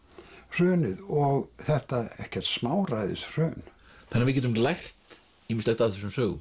hrunið og þetta ekkert smáræðis hrun þannig að við getum lært ýmislegt af þessum sögum